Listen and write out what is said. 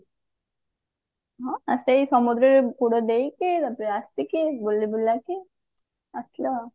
ସେଇ ସମୁଦ୍ର ରେ ବୁଡ ଦେଇକି ତାପରେ ଆସିକି ବୁଲି ବୁଲାକି ଆସିଲୁ ଆଉ